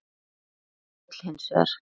Grótta féll hins vegar.